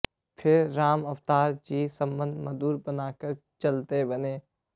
फिर रामअवतार जी संबंध मधुर बनाकर चलते बने